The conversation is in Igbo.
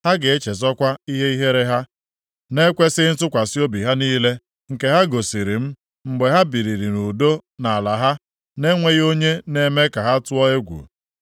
Ha ga-echezọkwa ihe ihere ha, na-ekwesighị ntụkwasị obi ha niile, nke ha gosiri m, mgbe ha biri nʼudo nʼala ha, na-enweghị onye na-eme ka ha tụọ egwu.